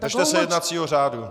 Držte se jednacího řádu.